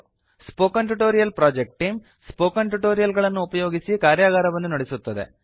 spoken tutorial project team spoken tutorial ಗಳನ್ನು ಉಪಯೋಗಿಸಿ ಕಾರ್ಯಗಾರವನ್ನು ನಡೆಸುತ್ತದೆ